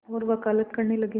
और वक़ालत करने लगे